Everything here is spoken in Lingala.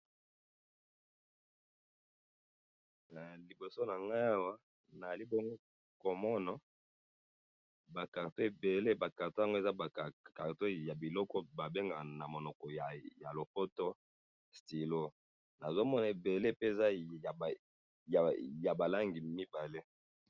Liboso na ngai awa ,nazali bongo komona ba cartons ebele ,ba cartons yango eza ba cartons eza ba cartons ya biloko oyo babengaka na monoko ya lopoto stylo ,nazo mona ebele eza pe ya ba langi mibale